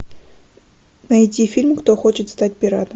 найди фильм кто хочет стать пиратом